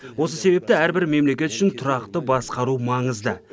осы себепті әрбір мемлекет үшін тұрақты басқару маңызды